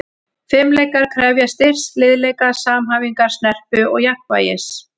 Fimleikar krefjast styrks, liðleika, samhæfingar, snerpu og jafnvægis.